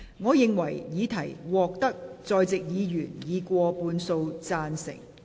我認為議題獲得在席議員以過半數贊成。